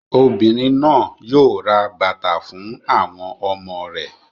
Obìnrin náà yóò ra bàtà fún àwọn ọmọ rẹ̀.